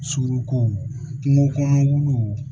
Suruku kungo kɔnɔ